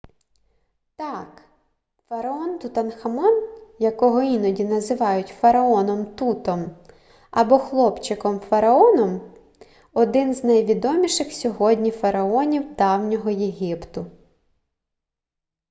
так фараон тутанхамон якого іноді називають фараоном тутом або хлопчиком-фараоном - один з найвідоміших сьогодні фараонів давнього єгипту